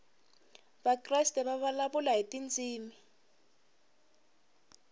vakreste va vulavula hi tindzimi